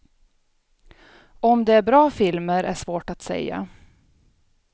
Om det är bra filmer, är svårt att säga.